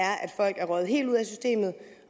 folk er røget helt ud af systemet